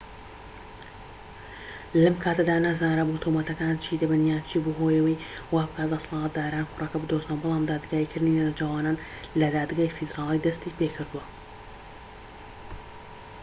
لەم کاتەدا نەزانرابوو تۆمەتەکان چی دەبن یان چی بووە هۆی ئەوەی وابکات دەسەڵاتداران کوڕەکە بدۆزنەوە بەڵام دادگاییکردنی نەوجەوانان لە دادگای فیدرالی دەستی پێکردووە